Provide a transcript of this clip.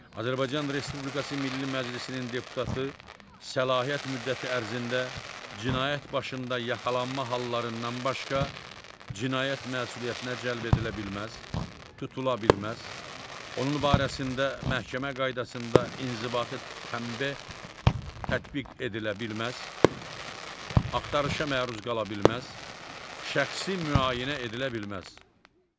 Azərbaycan Respublikası Milli Məclisinin deputatı səlahiyyət müddəti ərzində cinayət başında yaxalanma hallarından başqa cinayət məsuliyyətinə cəlb edilə bilməz, tutula bilməz, onun barəsində məhkəmə qaydasında inzibati tənbeh tətbiq edilə bilməz, axtarışa məruz qala bilməz, şəxsi müayinə edilə bilməz.